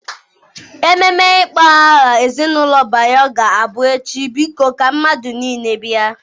Ememe ịkpọ aha ezinụlọ Bayo ga-abụ echi biko ka mmadụ niile bịa.